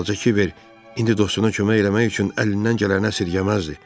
Balaca Kiber indi dostuna kömək eləmək üçün əlindən gələni əsirgəməzdi.